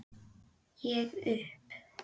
Ég upp